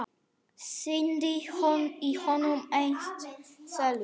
Syndi í honum einsog selur.